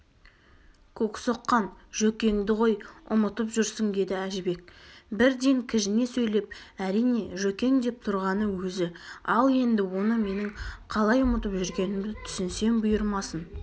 көксоққан жөкеңді ғой ұмытып жүрсің деді әжібек бірден кіжіне сөйлеп әрине жөкең деп тұрғаны өзі ал енді оны менің қалай ұмытып жүргенімді түсінсем бұйырмасын